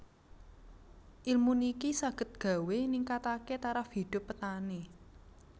Ilmu niki saged gawé ningkatake taraf hidup petani